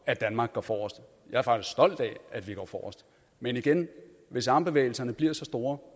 at danmark går forrest jeg er faktisk stolt af at vi går forrest men igen hvis armbevægelserne bliver så store